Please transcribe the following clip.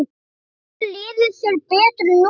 Vonandi líður þér betur núna.